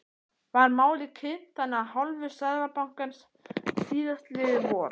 Var málið kynnt þannig af hálfu Seðlabankans síðastliðið vor?